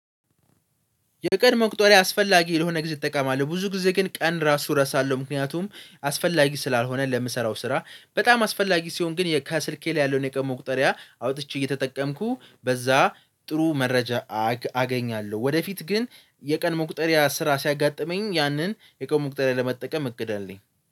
የቀን መቁጠሪያ አስፈላጊ ለሆነ ጊዜ እጠቀማለሁ ብዙ ጊዜ ግን ቀን ራሱ እረሳለሁ ምክንያቱም አስፈላጊ ስላልሆነ ለምሰራው ስራ በጣም አስፈላጊ ሲሆን ግን የከስልኬ ላይ ያለውን የቀድሞ ቁጠሪያ አውጥቼ እየተጠቀምኩ በዛ ጥሩ መረጃ አገ አገኛለሁ። ወደፊት ግን የቀን መቁጠሪያ ስራ ሲያጋጥመኝ ያንን የቀን መቁጠሪያ ለመጠቀም እቅድ አለኝ